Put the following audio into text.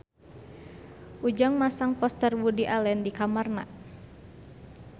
Ujang masang poster Woody Allen di kamarna